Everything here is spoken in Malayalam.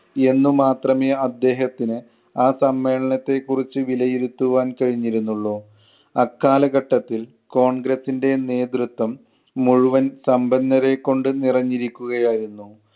എന്ന് മാത്രമേ അദ്ദേഹത്തിന് ആ സമ്മേളനത്തെ കുറിച്ച് വിലയിരുത്തുവാൻ കഴിഞ്ഞിരുന്നുള്ളൂ. അക്കാലഘട്ടത്തിൽ കോൺഗ്രസിൻ്റെ നേതൃത്വം മുഴുവൻ സമ്പന്നരെ കൊണ്ട് നിറഞ്ഞിരിക്കുകയായിരുന്നു.